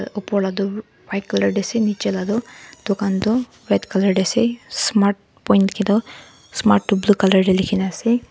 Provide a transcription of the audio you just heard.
aa upar lah tu white colour ase nicche lah tu dukan tu white colour teh ase smart point likhe toh smart tu blue colour la likhe na ase.